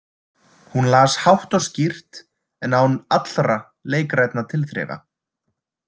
Hún las hátt og skýrt en án allra leikrænna tilþrifa.